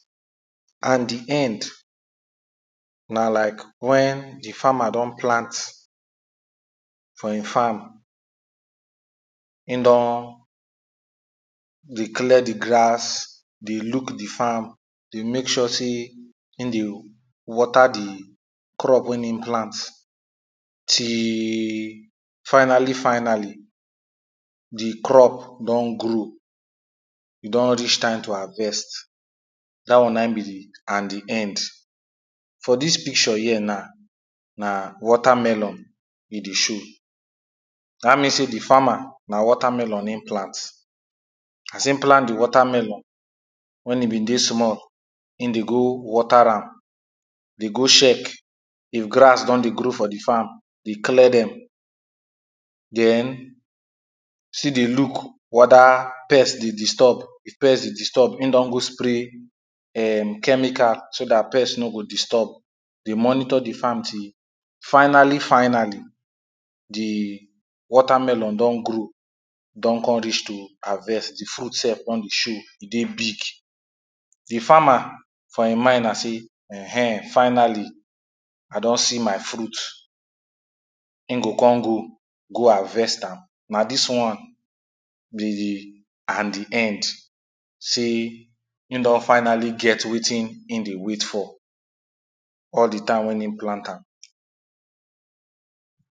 and the end, na like, wen the farmer don plant for him farm he don, dey clear the grass, the look the farm dey make sure say, him dey water the, crop wen in plant till, finally, finally, the crop, don grow e don reach time to harvest, dat one na im be the and the end. for dis picture here na, na water melon e dey show, dat mean say the farmer na watermelon him plant, as him plant the watermelon, wen im been dey small him dey go water am, dey go sheck if grass don dey grow for the farm, dey clear dem. den, still dey look wether pest dey disturb, if pest dey disturb, im don go spray um, chemical so dat pest no go disturb, dey monitor the farm till finally, finally, the watermelon don grow don con reach to harvest, the fruit sef con dey show, e dey big. the farmer, for in mind na say um finally, i don see my fruit, im go con go, go harvest am, na dis one be the and the end, say, him don finally get, wetin in dey wait for, all the time wen in plant am.